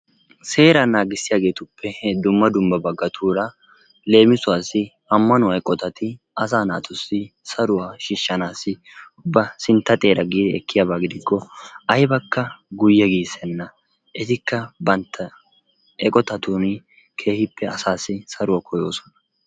Seear naagissiyaageetuppe dumma dumma baggaatuura leemisuwassi ammanuwa eqqotatti asa naatuussi saruwaa shiishanassi ba sintta xeeraa gii ekkiyaaba gidikko aybbakka guyyee giisena. Etikka bantta eqqotatuuni keehippe asassi saruwaa koyoosona.